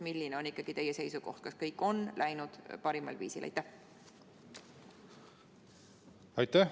Milline on ikkagi teie seisukoht – kas kõik on läinud parimal viisil?